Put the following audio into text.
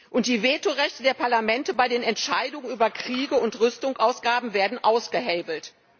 Und die Vetorechte der Parlamente bei den Entscheidungen über Kriege und Rüstungsausgaben werden ausgehebelt.